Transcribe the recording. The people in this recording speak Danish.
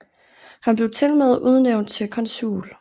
Han blev tilmed udnævnt til konsul